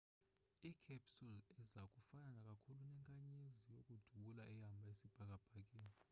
i-capsule iza kufana kakhulu nenkanyezi yokudubula ehamba isibhakabhakeni